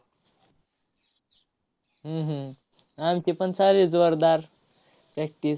हम्म हम्म आमचीपण चालू आहे जोरदार practice